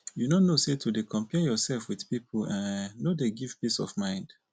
you no know sey to dey compare yoursef with pipu um no dey give peace of mind?